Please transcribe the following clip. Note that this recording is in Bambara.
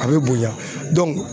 A bɛ bonya